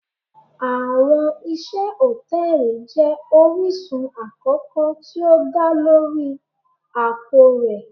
Awọn iṣẹ hòtẹ́ẹ̀lì jẹ orisun akoko ti o da lori apo rẹ.